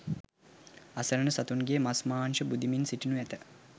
අසරන සතුන්ගේ මස් මාන්ශ බුදිමින් සිටිනු ඈත